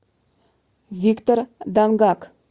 виктор дангак